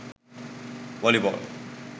volleyball